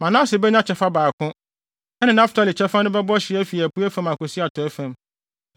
Manase benya kyɛfa baako; ɛne Naftali kyɛfa no bɛbɔ hye afi apuei fam akosi atɔe fam.